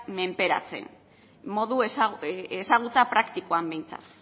menperatzen ezagutza praktikoan behintzat